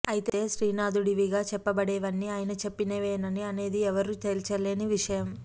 ఐతే శ్రీనాథుడివిగా చెప్పబడేవన్నీ ఆయన చెప్పినవేనా అనేది ఎవరూ తేల్చలేని విషయం